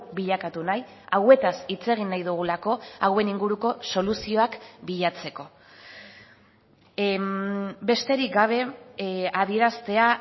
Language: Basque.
bilakatu nahi hauetaz hitz egin nahi dugulako hauen inguruko soluzioak bilatzeko besterik gabe adieraztea